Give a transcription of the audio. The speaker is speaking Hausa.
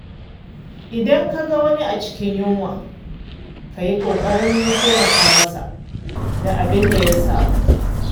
Idan ka ga wani a cikin yunwa, ka yi ƙoƙarin taimaka masa da abin da ya samu.